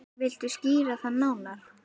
Viltu skýra það nánar?